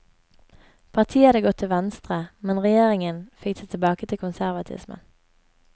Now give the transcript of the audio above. Partiet hadde gått til venstre, men regjeringen fikk det tilbake til konservatismen.